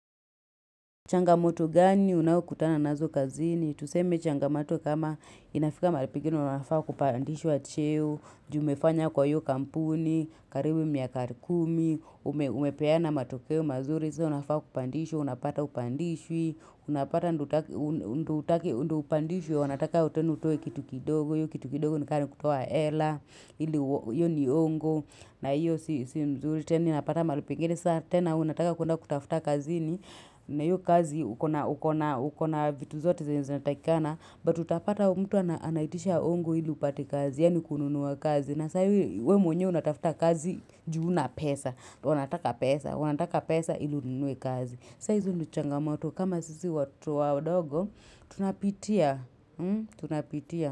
Changamoto gani unawo kutana nazo kazini? Tuseme changamoto kama inafika mahali pegine unafaa kupandishwa cheo, ju umefanya kwa hio kampuni, karibu miaka kumi, umepeana matokeo mazuri, unafaa kupandishwa, unapata hupandishwi, unapata ndio upandishwe, wanataka tenua utoe kitu kidogo, hio kitu kidogo nika ni kutoa hela, hio ni ongo, na hio si nzuri tena unapata mahali pengine, tena, unataka kwenda kutafuta kazi ni, na hio kazi ukona vitu zote zenye zinatakikana, but utapata mtu anaitisha hongo ili upate kazi, yaani kununuwa kazi. Na saa io, we mwenyewe unatafuta kazi, juu huna pesa. Wanataka pesa, wanataka pesa ili ununue kazi. Sasa hizo ndio changamoto, kama sisi watu wadogo, tunapitia. Tunapitia.